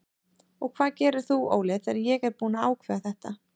Og hvað gerir þú Óli þegar ég er búinn að ákveða þetta?